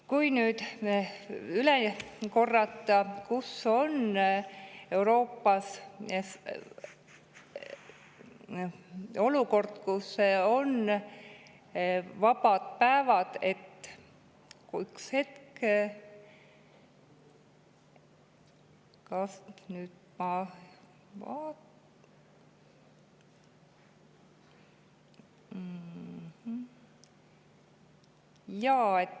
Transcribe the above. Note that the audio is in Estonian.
Kordan nüüd üle selle, et kus ja millal on Euroopas vabad päevad, üks hetk.